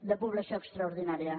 de població extraordinària